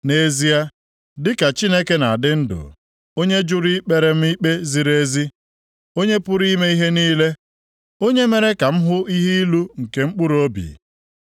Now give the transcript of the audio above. “Nʼezie, dịka Chineke na-adị ndụ, onye jụrụ ikpere m ikpe ziri ezi, Onye pụrụ ime ihe niile, onye mere ka m hụ ihe ilu nke mkpụrụobi.